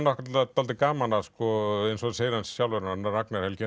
dálítið gaman að sko eins og hann segir sjálfur hann Ragnar Helgi